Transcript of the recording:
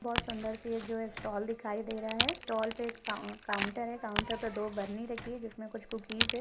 बहुत सुन्दर सी जो है स्टॉल दिखाई दे रहा है स्टॉल पे एक फाव काउंटर है काउंटर पे दो बरनी रखी है जिसमे कुछ कुकीज़ है।